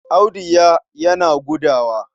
Audu ya yana gudawa.